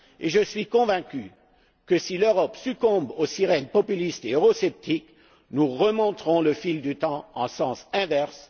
Je suis convaincu que si l'Europe succombe aux sirènes populistes et eurosceptiques, nous remonterons le fil du temps en sens inverse.